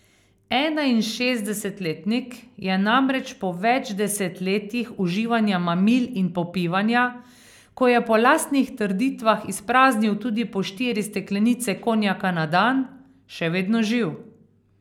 Enainšestdesetletnik je namreč po več desetletjih uživanja mamil in popivanja, ko je po lastnih trditvah izpraznil tudi po štiri steklenice konjaka na dan, še vedno živ.